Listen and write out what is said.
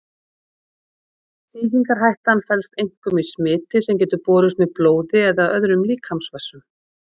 Sýkingarhættan felst einkum í smiti sem getur borist með blóði eða öðrum líkamsvessum.